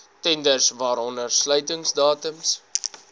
tenders waaronder sluitingsdatums